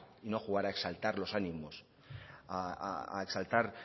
y no jugar a exaltar a los ánimos a exaltar